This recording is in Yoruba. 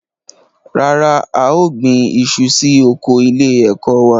Rárá, a ò gbin iṣu sí oko ilé-ẹ̀kọ́ wa.